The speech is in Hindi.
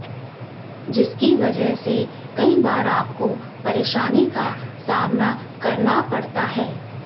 जिसकी वजह से कई बार आपको परेशानी का सामना करना पड़ता है